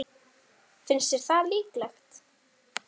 Sölvi: Finnst þér það líklegt?